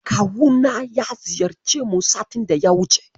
Kawuna ya ziyarce mu satin daya wuce.